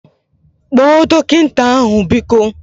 Kpọọ dọkịta ahu biko!